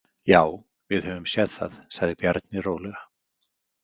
Já, við höfum séð það, sagði Bjarni rólega.